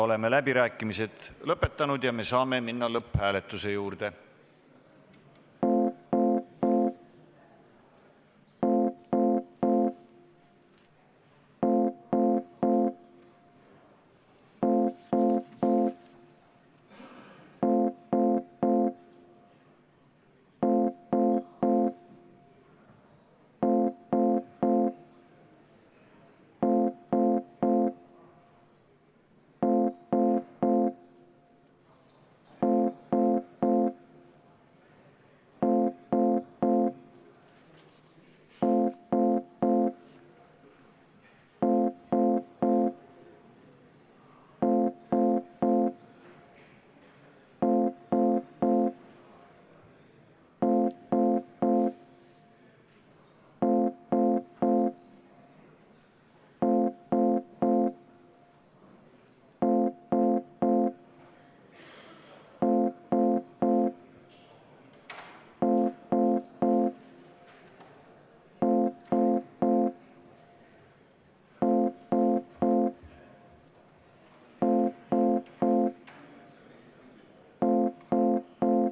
Oleme läbirääkimised lõpetanud ja saame minna lõpphääletuse juurde.